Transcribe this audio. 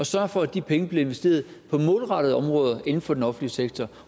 sørge for at de penge bliver investeret på målrettede områder inden for den offentlige sektor